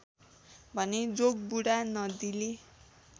भने जोगबुढा नदीले